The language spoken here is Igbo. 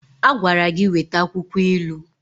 A gwara gi weta akwukwo ilu.